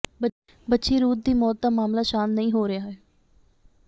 ਬੱਚੀ ਰੂਥ ਦੀ ਮੌਤ ਦਾ ਮਾਮਲਾ ਸ਼ਾਂਤ ਨਹੀਂ ਹੋ ਰਿਹਾ ਹੈ